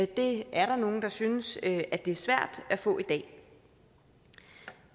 det er der nogle der synes at det er svært at få i dag